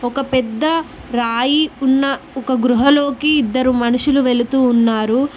ఒక పెద్ద రాయి ఉన్న ఒక గృహలోకి ఇద్దరు మనుషులు వెళుతూ ఉన్నారు.